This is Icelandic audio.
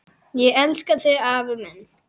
Ég elska þig afi minn.